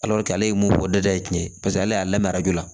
ale ye mun fɔ da ye cɛn ye paseke ale y'a lamɛn arajo la